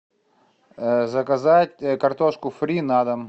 заказать картошку фри на дом